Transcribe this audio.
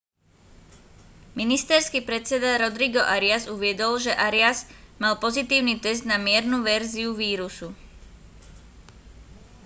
ministerský predseda rodrigo arias uviedol že arias mal pozitívny test na miernu verziu vírusu